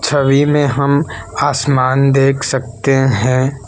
छवि में हम आसमान देख सकते हैं।